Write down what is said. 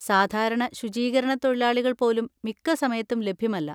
സാധാരണ ശുചീകരണത്തൊഴിലാളികൾ പോലും മിക്ക സമയത്തും ലഭ്യമല്ല.